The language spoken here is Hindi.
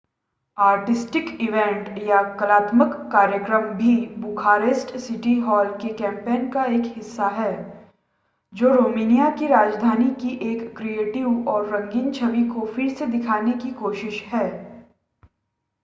आर्टिस्टिक इवेंट कलात्मक कार्यक्रम भी बुखारेस्ट सिटी हॉल के कैंपेन का एक हिस्सा है जो रोमानिया की राजधानी की एक क्रिएटिव और रंगीन छवि को फिर से दिखाने की कोशिश है